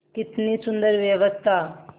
कितनी सुंदर व्यवस्था